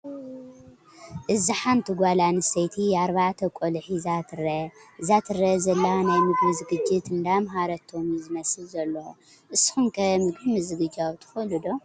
እዚ ሓንቲ ጓል ኣንሰተይቲ ኣርባዕተ ቀልዑ ሒዛ ትረአ። እዛ ትርአ ዘላ ናይ ምግቢ ዝግጅት አንዳማሃረቶም እዩ ዝመስል ዘሎ። ንስኩም ከ ምግቢ መዝግጃው ትክእሉ ዶ?